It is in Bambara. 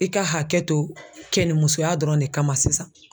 I ka hakɛ to kɛnimusoya dɔrɔn de kama sisan.